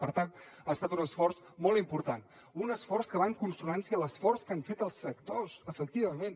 per tant ha estat un esforç molt important un esforç que va en consonància amb l’esforç que han fet els sectors efectivament